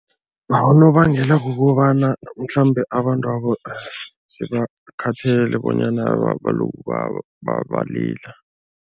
Unobangela kukobana mhlambe abantwabo sebakhathele bonyana balokhu balila.